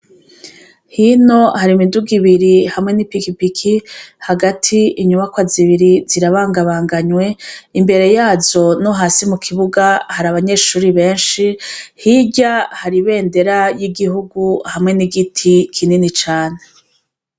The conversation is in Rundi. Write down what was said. Hino hari imiduga ibiri hamwe n'ipikipiki, hagati inyubakwa zibiri zirabangabanganwe, imbere yazo no hasi mu kibuga hari abanyeshure benshi, hirya hari ibendera ry'igihugu hamwe n'igiti kinini cane.